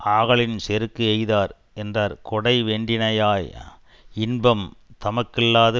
ஆகலின் செருக்கு எய்தார் என்றார் கொடை வென்றியினாய் இன்பம் தமக்கல்லாது